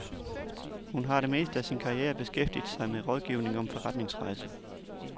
Hun har det meste af sin karriere beskæftiget sig med rådgivning om forretningsrejser.